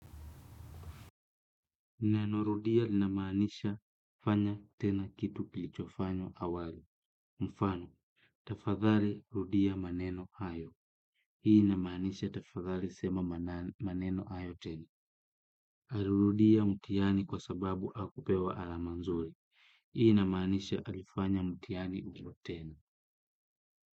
Neno rudia linamaanisha kufanya tena kitu kilichofanywa awali. Mfano, tafadhali rudia maneno hayo. Hii inamaanisha tafadhali sema maneno hayo tena. Alirudia mtihani kwa sababu hakupewa alama nzuri. Hii inamaanisha alifanya mtihani huo tena.